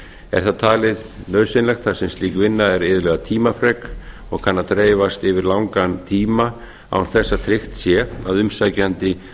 er það talið nauðsynlegt þar sem slík vinna er iðulega tímafrek og kann að dreifast yfir langan tíma án þess að tryggt sé að umsækjandi